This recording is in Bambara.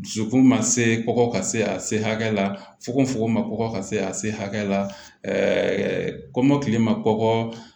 Dusukun ma se kɔkɔ ka se a se hakɛ la fukofoko ma kɔkɔ ka se a se hakɛ la kɔmɔkili ma kɔkɔ